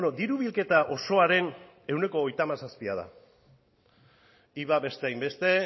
diru bilketa osoaren ehuneko hogeita hamazazpia da iva beste hainbeste